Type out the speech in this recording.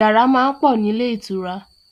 Yàrá máa ń pọ̀ nílé ìtura